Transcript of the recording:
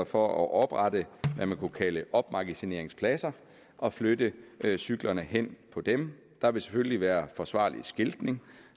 for at oprette hvad man kunne kalde opmagasineringspladser og flytte cyklerne hen på dem der vil selvfølgelig være forsvarlig skiltning